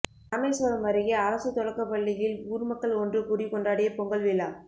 ராமேசுவரம் அருகே அரசு தொடக்க பள்ளியில் ஊர்மக்கள் ஒன்றுகூடி கொண்டாடிய பொங்கல் விழா